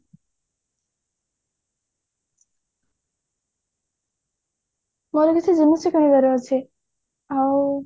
ମୋର କିଛି ଜିନିଷ କିଣିବାର ଅଛି ଆଉ